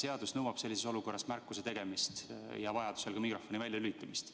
Seadus nõuab sellises olukorras märkuse tegemist ja vajaduse korral ka mikrofoni väljalülitamist.